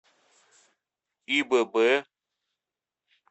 ибб